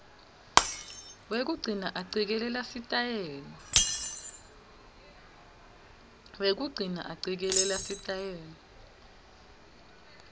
wekugcina acikelela sitayela